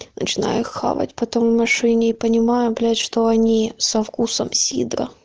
начиная хавать потом в машине и понимаю блять что они со вкусом сидра